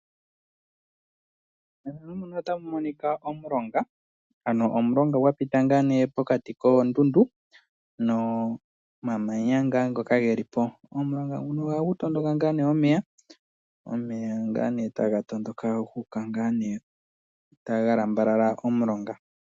Omulonga gwa pita pokati koondundu nomamanya omulonga nguno ohagu tondoka ngaa ne omeya ga lambalala omulonga.